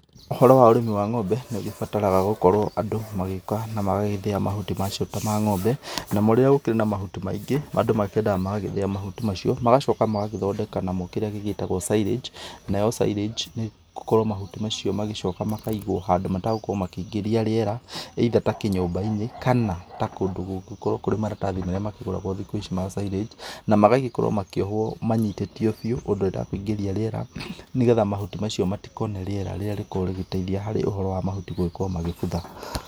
Ũhoro wa ũrĩmi wa ng'ombe nĩ ũgĩbataraga gũkorwo andũ magĩũka na magagĩthĩa mahuti macio ta ma ng'ombe, namo rĩrĩa gũkĩrĩ na mahuti maingĩ andũ makĩendaga magagĩthĩa mahuti macio magacoka magagĩthondeka namo kĩrĩa gĩgĩtagwo silage nayo silage nĩ gũkorwo mahuti macio magĩcoka makaigwo handũ matagũkorwo makĩingĩria rĩera either ta kĩnyũmba-inĩ kana ta kũndũ kũngĩkorwo kũrĩ maratathi marĩa makĩgũragwo thikũ ici ma silage na magagĩkorwo makĩohwo manyitĩtio biũ ũndũ rĩtakũingĩria rĩera, nĩ getha mahuti macio matikone rĩera rĩrĩa rĩkoragwo rĩgĩteithia harĩ ũhoro wa mahuti gũkorwo magĩbutha.